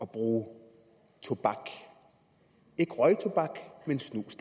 bruge tobak ikke røgtobak men snus